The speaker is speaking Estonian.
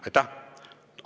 Aitäh!